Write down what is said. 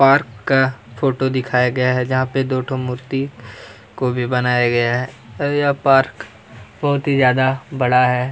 Park का photo दिखाया गया है जहाँ पे दो ठो मूर्ती को भी बनाया गया है और यह पार्क बहुत ही ज्यादा बड़ा है।